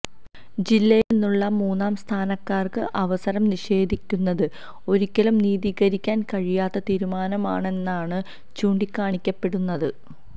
ജില്ലയില്നിന്നുള്ള മൂന്നാം സ്ഥാനക്കാര്ക്ക് അവസരം നിഷേധിക്കുന്നത് ഒരിക്കലും നീതീകരിക്കാന് കഴിയാത്ത തീരുമാനമാണെന്നാണ് ചൂണ്ടിക്കാണിക്കപ്പെടുന്നത്